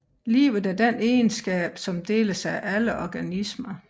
Liv er den egenskab som deles af alle organismer